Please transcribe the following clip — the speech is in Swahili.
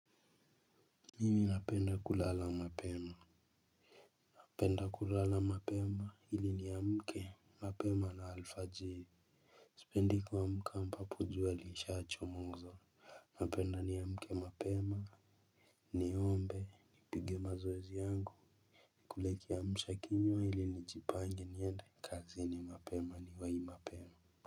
Mimi napenda kulala mapema napenda kulala mapema ili niamke mapema na alfajiri. Sipendi kuamka ambapo jua lilishachomoza. Napenda niamke mapema. Niombe nipige mazoezi yangu nikule kiamshakinywa ili nijipange niende kazini mapema niwahi mapema.